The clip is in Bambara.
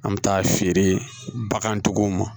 An bɛ taa feere bagantigiw ma